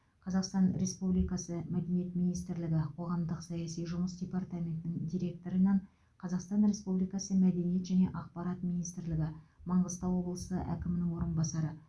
қазақстан республикасы мәдениет министрлігі қоғамдық саяси жұмыс департаментінің директорынан қазақстан республикасы мәдениет және ақпарат министрлігі маңғыстау облысы әкімінің орынбасары